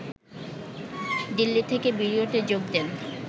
দিল্লি থেকে ভিডিওতে যোগ দেন